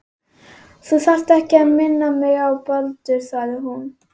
Þú þarft ekki að minna mig á Baldur- sagði hún.